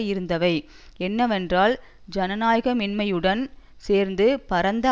இருந்தவை என்னவென்றால் ஜனநாயகமின்மையுடன் சேர்ந்து பரந்த